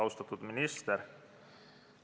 Austatud minister!